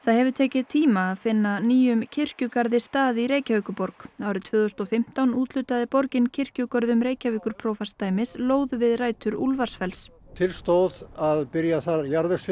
hefur tekið tíma að finna nýjum kirkjugarði stað í Reykjavíkurborg árið tvö þúsund og fimmtán úthlutaði borgin kirkjugörðum Reykjavíkurprófastsdæmis lóð við rætur Úlfarsfells til stóð að byrja þar